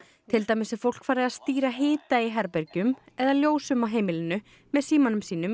til dæmis er fólk farið að stýra hita í herbergjum eða ljósum á heimilinu með símanum sínum í